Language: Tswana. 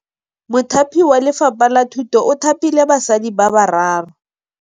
Mothapi wa Lefapha la Thutô o thapile basadi ba ba raro.